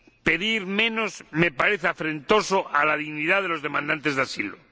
Pedir menos me parece afrentoso a la dignidad de los demandantes de asilo.